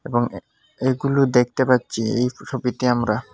এবং এ এগুলো দেখতে পাচ্ছি এই ছবিতে আমরা।